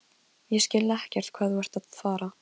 Ég skil ekkert hvað þú ert að fara.